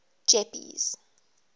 jeppes